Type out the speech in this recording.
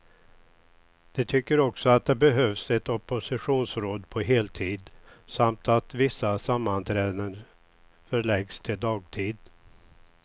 De tycker också att det behövs ett oppositionsråd på heltid, samt att vissa sammanträden förläggs till dagtid.